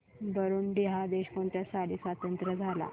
Burundi हा देश कोणत्या साली स्वातंत्र्य झाला